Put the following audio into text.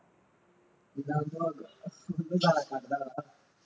ਜਾਇਆ ਕਰਦਾ ਵਾ